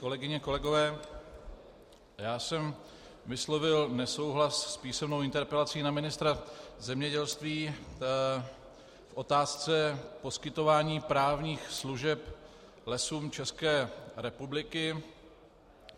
Kolegyně, kolegové, já jsem vyslovil nesouhlas s písemnou interpelací na ministra zemědělství v otázce poskytování právních služeb Lesům České republiky.